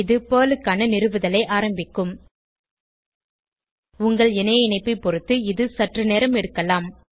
இது பெர்ல் க்கான நிறுவுதலை ஆரம்பிக்கும் உங்கள் இணைய இணைப்பைப் பொருத்து இது சற்று நேரம் எடுக்கலாம்